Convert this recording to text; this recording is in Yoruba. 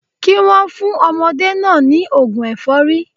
Kí wọ́n fún ọmọdé náà ní ògùn ẹ̀fọ́rí